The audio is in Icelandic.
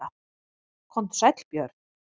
Komdu sæll Björn.